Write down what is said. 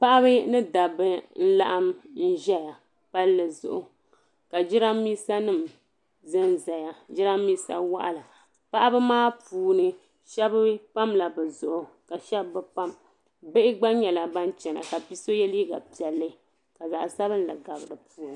Paɣaba mini dabba n laɣim ʒɛya palli zuɣu ka jirambisa nima zanzaya jirambisa waɣala paɣaba maa puuni sheba pamla bɛ zuɣu ka sheba bi pam bihi gna nyɛla ban chena ka so ye liiga piɛli ka zaɣa sabinli gabi dipuuni.